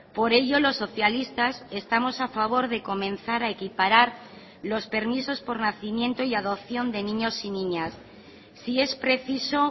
por ello los socialistas estamos a favor de comenzar a equiparar los permisos por nacimiento y adopción de niños y niñas si es preciso